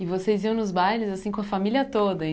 E vocês iam nos bailes assim com a família toda e?